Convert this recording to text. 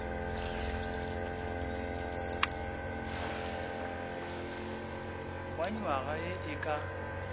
wa nywaga ye e ka